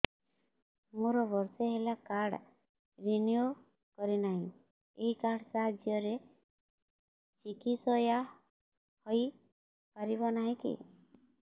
ମୋର ବର୍ଷେ ହେଲା କାର୍ଡ ରିନିଓ କରିନାହିଁ ଏହି କାର୍ଡ ସାହାଯ୍ୟରେ ଚିକିସୟା ହୈ ପାରିବନାହିଁ କି